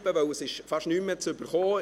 Denn man erhält fast nichts mehr.